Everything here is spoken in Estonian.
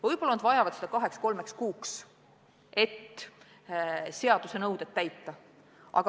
Võib-olla nad vajavad seda kaheks-kolmeks kuuks, et seaduse nõuded täita.